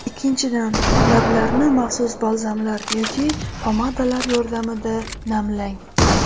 Ikkinchidan, lablarni maxsus balzamlar yoki pomadalar yordamida namlang.